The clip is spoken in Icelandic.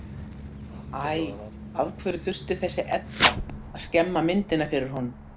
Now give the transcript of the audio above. Æ, af hverju þurfti þessi Edda að skemma myndina fyrir honum?